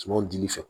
Sumanw dili fɛ